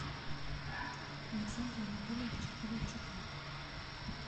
александра анатольевича ковальчука